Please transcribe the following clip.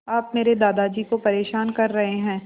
आप मेरे दादाजी को परेशान कर रहे हैं